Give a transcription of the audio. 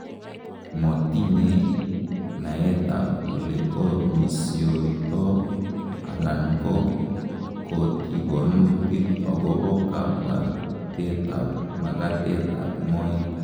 Mokitinye naetab olekomisioito alan ko kotikonutik akobo kabwabetab magatetab moet.